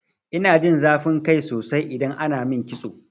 Ina jin zafin kai sosai idan ana min kitso.